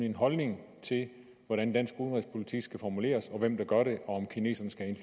en holdning til hvordan dansk udenrigspolitik skal formuleres og hvem der gør det og om kineserne skal have